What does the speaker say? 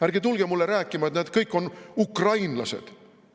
Ärge tulge mulle rääkima, et nad kõik on ukrainlased.